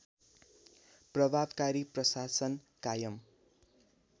प्रभावकारी प्रशासन कायम